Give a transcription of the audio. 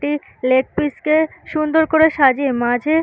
একটি leg piece -কে সুন্দর করে সাজিয়ে মাঝে